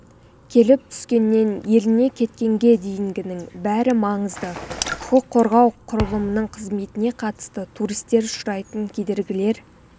келіп түскеннен еліне кеткенге дейінгінің бәрі маңызды құқық қорғау құрылымының қызметіне қатысты туристер ұшырайтын кедергілер